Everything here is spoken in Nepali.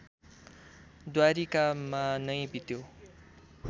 द्वारिकामा नै बित्यो